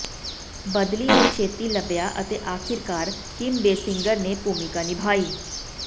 ਬਦਲੀ ਨੂੰ ਛੇਤੀ ਲੱਭਿਆ ਅਤੇ ਆਖਿਰਕਾਰ ਕਿਮ ਬੇਸਿੰਗਰ ਨੇ ਭੂਮਿਕਾ ਨਿਭਾਈ